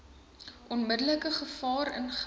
onmiddellike gevaar ingehou